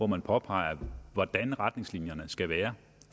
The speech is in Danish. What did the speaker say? man påpeger hvordan retningslinjerne skal være